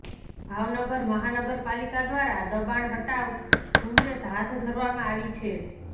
ભાવનગર મહાનગરપાલિકા દ્વારા દબાણ હટાવ ઝુંબેશ હાથ ધરવામાં આવી છે